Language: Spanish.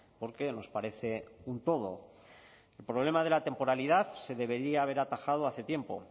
porque nos parece un todo el problema de la temporalidad se debería haber atajado hace tiempo